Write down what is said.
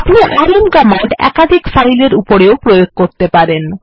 আপনি RM command একাধিক file এর উপরেও প্রয়োগ করতে পারেন